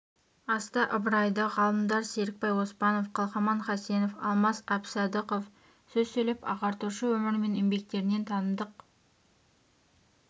аста ыбырайды ғалымдар серікбай оспанов қалқаман хасенов алмас әбсадықов сөз сөйлеп ағартушы өмірі мен еңбектерінен танымдық